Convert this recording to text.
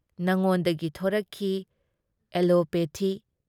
ꯅꯉꯣꯟꯗꯒꯤ ꯊꯣꯔꯛꯈꯤ ꯑꯦꯂꯣꯄꯦꯊꯤ ꯫